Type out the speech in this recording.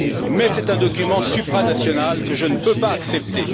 Mais c'est un document supranational que je ne peux pas accepter.